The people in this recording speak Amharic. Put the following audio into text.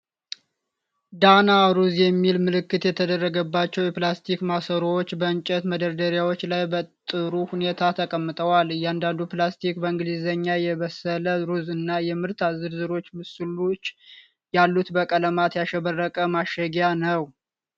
"ዳና" ሩዝ የሚል ምልክት የተደረገባቸው የፕላስቲክ ማሰሮዎች በእንጨት መደርደሪያዎች ላይ በጥሩ ሁኔታ ተቀምጠዋል። እያንዳንዱ ፕላስቲክ በእንግሊዝኛ የበሰለ ሩዝ እና የምርት ዝርዝሮች ምስሎች ያሉት በቀለማት ያሸበረቀ ማሸጊያ አለው።